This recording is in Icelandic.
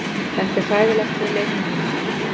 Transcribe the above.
Þetta er hræðilegt fyrir leikmenn mína.